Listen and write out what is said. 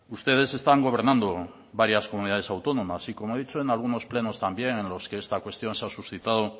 ustedes están gobernando varias comunidades autónomas y como he dicho en algunos plenos también en los que esta cuestión se ha suscitado